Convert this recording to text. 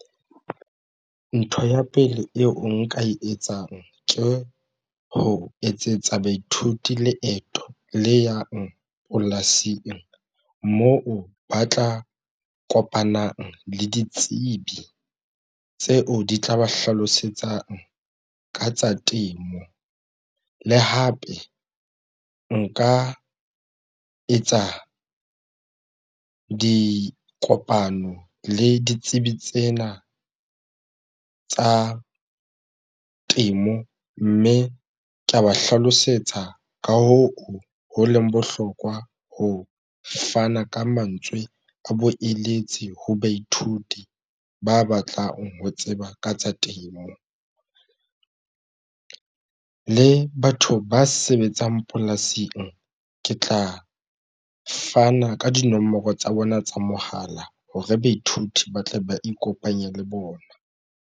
Ntho ya pele eo nka e etsang ke ho etsetsa baithuti leeto le yang polasing moo ba tla kopanang le ditsebi tseo di tla ba hlalosetsang ka tsa temo le hape nka etsa dikopano le ditsebi tsena tsa temo, mme ka ba hlalosetsa ka hoo ho leng bohlokwa ho fana ka mantswe a boeletsi ho baithuti ba batlang ho tseba ka tsa temo le batho ba sebetsang polasing ke tla fana ka dinomoro tsa bona tsa mohala hore baithuti ba tle ba ikopanye le bona.